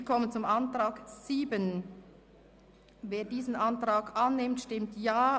Wer den Ordnungsantrag 7 des Büros annimmt, stimmt Ja.